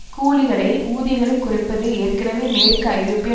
கூலிகளை ஊதியங்களை குறைப்பது ஏற்கனவே மேற்கு ஐரோப்பிய